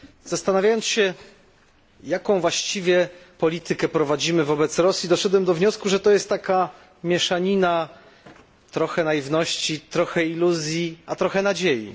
Zastanawiając się, jaką właściwie politykę prowadzimy wobec Rosji, doszedłem do wniosku, że to jest taka mieszanina trochę naiwności, trochę iluzji i trochę nadziei.